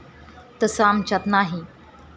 तसं आमच्यात नाही.